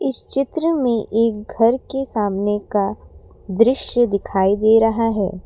इस चित्र में एक घर के सामने का दृश्य दिखाई दे रहा है।